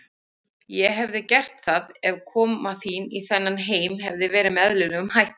Ég hefði gert það, ef koma þín í þennan heim hefði verið með eðlilegum hætti.